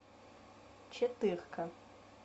четырка